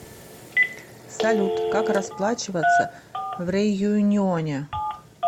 салют как расплачиваться в реюньоне